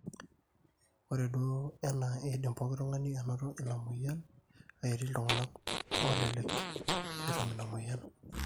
ore duo enaa eidim pooki tung'ani anoto ina mweyian kake etii iltung'anak oolelek etum ina mweyian